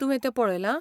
तुवें तें पळयलां?